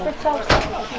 Gəl çalsın.